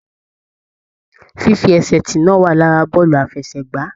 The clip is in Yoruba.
Fífi ẹsẹ tí náà wà lára bọọlu àfẹ́sẹ̀gbà.